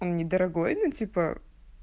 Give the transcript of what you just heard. он недорогой ну типа